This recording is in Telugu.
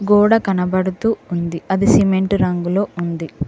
గోడ కనబడుతూ ఉంది అది సిమెంట్ రంగులో ఉంది.